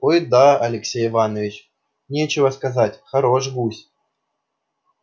ай-да алексей иваныч нечего сказать хорош гусь